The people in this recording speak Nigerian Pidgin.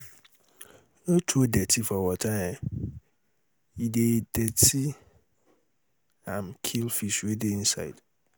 no throw dirty for water e dey dirty am kill fish wey dey inside